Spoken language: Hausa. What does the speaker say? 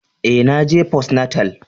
Eh, na je postnatal.